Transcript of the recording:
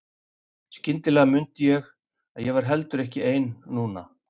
Skyndilega mundi ég að ég var heldur ekki ein núna.